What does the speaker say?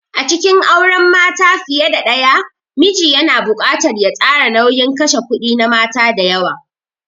A cikin auren mata fiye da daya, miji yana buƙatar ya tsara nauyin kashe kudi na mata da yawa.